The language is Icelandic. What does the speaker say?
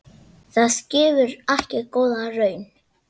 Það gefur ekki góða raun.